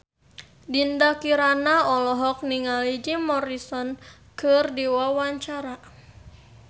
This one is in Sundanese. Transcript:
Dinda Kirana olohok ningali Jim Morrison keur diwawancara